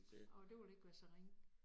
Åh det ville ikke være så ringe